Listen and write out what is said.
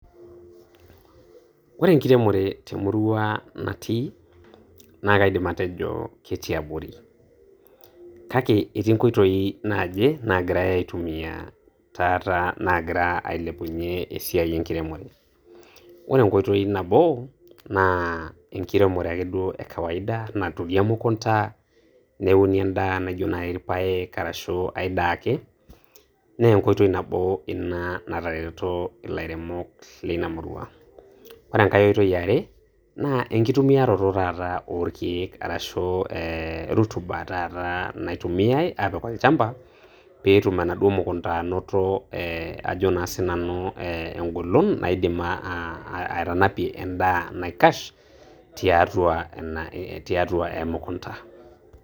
Ore enkiremore temurua natii, naa kaidim atejo ketii abori. Kake etii nkoitoi naaje nagirai atumia taata nagira ailepunye esiai enkirimore. Ore enkoitoi nabo, naa enkiremore taata ekawaida naturi emukunda neune endaa naijo nai ilpaek arashu ai daa ake, naa enkoitoi nabo natareto nai ilairemok lina murua. Ore enkai oitoi eare, naa enkitumiarato taata olkeek arashu eeh rotuba taata naitumiai aapik olchamba, peetum anaduo mukunda anato ee ajo naasiinamu ee engolon naidim atanapie endaa naikash, tiatua ina tiatua emukunda.